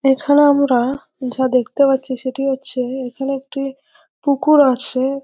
এখানে আমরা যা দেখতে পাচ্ছি সেটি হচ্ছে এখানে একটি পুকুর আছে।